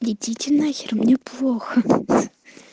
идите на хер мне плохо